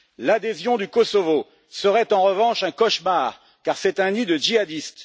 L'adhésion du Kosovo serait, en revanche, un cauchemar, car c'est un nid de djihadistes.